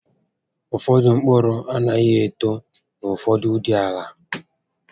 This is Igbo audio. Ụfọdụ mkpụrụ anaghị eto na ụfọdụụdị àlà